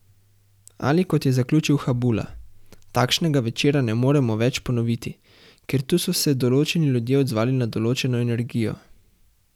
Ali kot je zaključil Habula: 'Takšnega večera ne moremo več ponoviti, ker tu so se določeni ljudje odzvali na določeno energijo.